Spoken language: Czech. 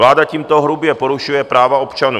Vláda tímto hrubě porušuje práva občanů.